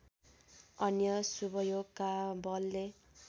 अन्य शुभयोगका बलले